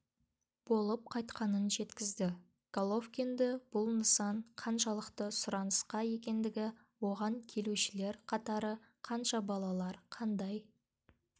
болып қайтқанын жеткізді головкинді бұл нысан қаншалықты сұранысқа екендігі оған келушілер қатары қанша балалар қандай